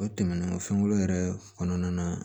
O tɛmɛnen kɔ fɛnkolon yɛrɛ kɔnɔna na